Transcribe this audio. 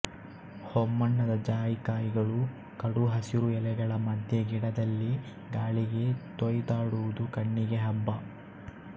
ಹೊಂಬಣ್ಣದ ಜಾಯಿಕಾಯಿಗಳು ಕಡು ಹಸಿರು ಎಲೆಗಳ ಮಧ್ಯೆ ಗಿಡದಲ್ಲಿ ಗಾಳಿಗೆ ತೊಯ್ದಾಡುವುದು ಕಣ್ಣಿಗೆ ಹಬ್ಬ